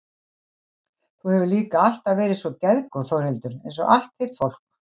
Þú hefur líka alltaf verið svo geðgóð Þórhildur einsog allt þitt fólk.